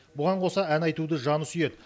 бұған қоса ән айтуды жаны сүйеді